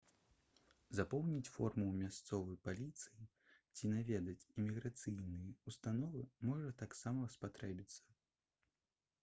запоўніць форму ў мясцовай паліцыі ці наведаць іміграцыйныя ўстановы можа таксама спатрэбіцца